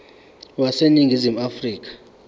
wase ningizimu afrika